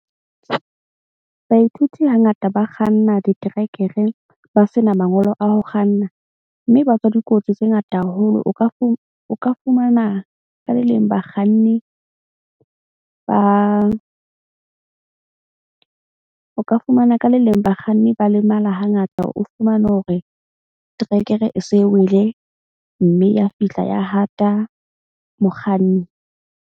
Baithuti hangata ba kganna diterekere ba sena mangolo a ho kganna. Mme ba tswa dikotsi tse ngata haholo. O ka fumana ka le leng bakganni ba o ka fumana ka le leng bakganni ba lemala hangata. O fumane hore trekere e se wele, mme ya fihla ya hata mokganni.